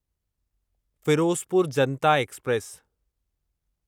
Firozpur Janata express